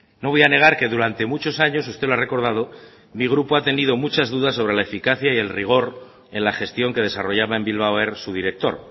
no voy a negar que durante muchos años usted lo ha recordado mi grupo ha tenido muchas dudas sobre la eficacia y el rigor en la gestión que desarrollaba en bilbao air su director